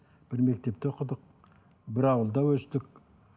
бір мектепте оқыдық бір ауылда өстік